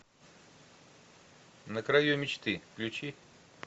на краю мечты включи